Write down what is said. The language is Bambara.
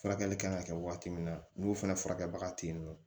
Furakɛli kan ka kɛ waati min na n'o fana furakɛrabaga te yen nɔ